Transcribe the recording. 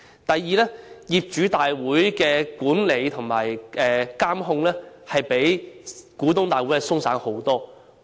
第二，業主大會的管理和監控比股東大會鬆散得多。